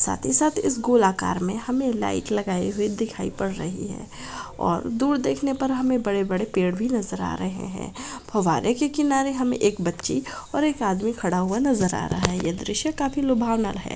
साथ ही साथ इस गोलाकार में हमे लाइट लगाई हुई दिखाई पड़ रही है और दूर देखने पर हमे बड़े-बड़े पेड़ भी नजर आ रहे है फव्वारे के किनारे हमें एक बच्ची और एक आदमी खड़ा हुआ नजर आ रहा है यह दृश्य काफी लुभावना है।